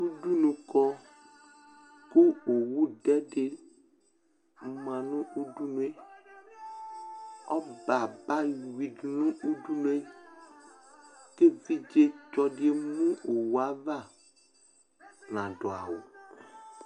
Udunu kɔ kʋ owudɛ dɩ ma nʋ udunu yɛ, ɔbɛ abeyuidu nʋ udunu yɛ kʋ evidzetsɔ dɩ emu owu ava, nadʋ awʋ